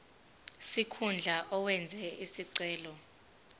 sikhundla owenze isicelo